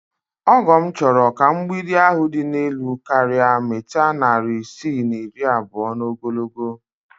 Ọgọ m chọrọ ka mgbidi ahụ dị elu karịa mita narị isii na iri abụọ n'ogologo